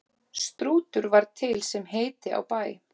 Strútur var til sem heiti á bæ.